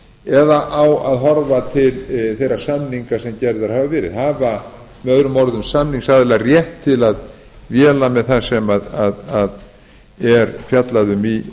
eða á að horfa til þeirra samninga sem gerðir hafa verið hafa möo samningsaðilar rétt til að véla með það sem er fjallað um í